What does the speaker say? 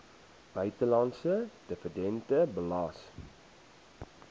buitelandse dividend belas